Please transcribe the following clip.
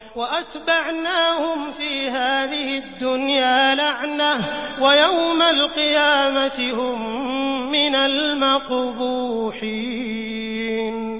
وَأَتْبَعْنَاهُمْ فِي هَٰذِهِ الدُّنْيَا لَعْنَةً ۖ وَيَوْمَ الْقِيَامَةِ هُم مِّنَ الْمَقْبُوحِينَ